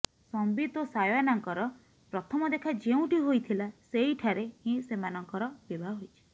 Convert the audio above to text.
ସମ୍ବିତ ଓ ସାୟୋନାଙ୍କର ପ୍ରଥମ ଦେଖା ଯେଉଁଠି ହୋଇଥିଲା ସେଇଠାରେ ହିଁ ସେମାନଙ୍କର ବିବାହ ହୋଇଛି